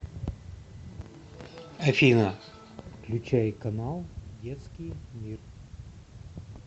афина включай канал детский мир